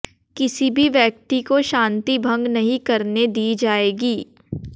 किसी भी व्यक्ति को शांति भंग नहीं करने दी जाएगी